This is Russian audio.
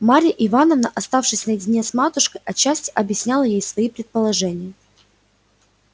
марья ивановна оставшись наедине с матушкой отчасти объясняла ей свои предположения